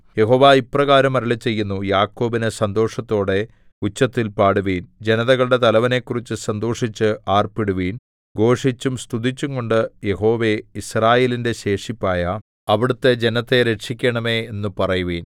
യഹോവ ഇപ്രകാരം അരുളിച്ചെയ്യുന്നു യാക്കോബിന് സന്തോഷത്തോടെ ഉച്ചത്തിൽ പാടുവിൻ ജനതകളുടെ തലവനെക്കുറിച്ച് സന്തോഷിച്ച് ആർപ്പിടുവിൻ ഘോഷിച്ചും സ്തുതിച്ചുംകൊണ്ട് യഹോവേ യിസ്രായേലിന്റെ ശേഷിപ്പായ അവിടുത്തെ ജനത്തെ രക്ഷിക്കണമേ എന്നു പറയുവിൻ